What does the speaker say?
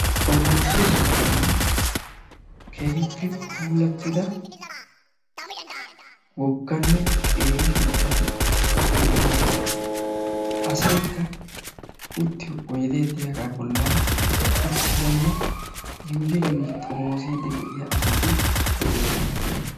Xommossiyo sohuwani keehippe puulattida wogganne qeeri shuchchati de'oosona. Asaykka uttiyo oydee diyaaga bollan uttidanne yuuyi yuuyi xommoossidi de'iya asati de'oosona.